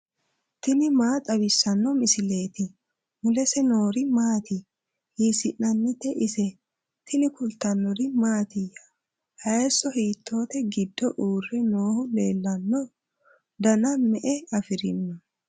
tini maa xawissanno misileeti ? mulese noori maati ? hiissinannite ise ? tini kultannori mattiya? hayiiso hiittotte giddo uure noohu leellannoya? danna me'e afirinno?